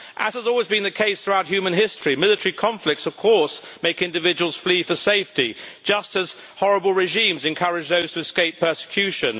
As has always been the case throughout human history, military conflicts of course make individuals flee for safety just as horrible regimes encourage those to escape persecution.